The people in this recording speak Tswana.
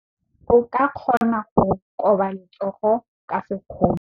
O ka kgona go koba letsogo ka sekgono.